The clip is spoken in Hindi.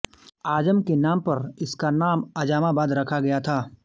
आजम के नाम पर इसका नाम आजमाबाद रखा गया था